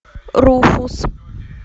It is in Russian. руфус